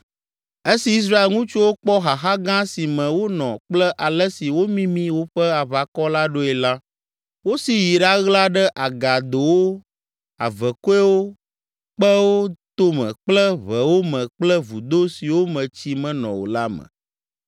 Esi Israel ŋutsuwo kpɔ xaxa gã si me wonɔ kple ale si womimi woƒe aʋakɔ la ɖoe la, wosi yi ɖaɣla ɖe agadowo, avekɔewo, kpewo tome kple ʋewo me kple vudo siwo me tsi menɔ o la me.